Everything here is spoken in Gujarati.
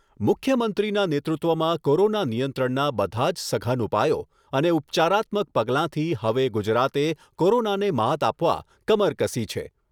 મુખ્યમંત્રીના નેતૃત્વમાં કોરોના નિયંત્રણના બધા જ સઘન ઉપાયો અને ઉપચારાત્મક પગલાંથી હવે ગુજરાતે કોરોનાને માત આપવા કમર કસી છે.